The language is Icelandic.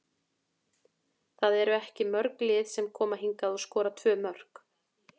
Það eru ekki mörg lið sem koma hingað og skora tvö mörk.